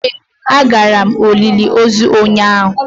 Ee agara m olili ozu ụnyahụ.